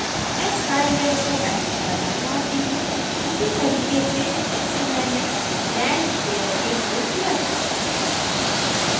मैं sky layer को edit करना चाहती हूँ उसी तरीके से जैसे मैंने land layer के लिए किया था